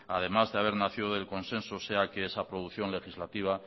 además de haber nacido del consenso sea que esa producción legislativa